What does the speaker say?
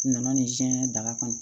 Nana nin da kɔnɔ